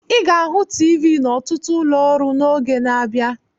Ị ga-ahụ TV n'ọtụtụ ụlọ ọrụ n'oge na-abịa.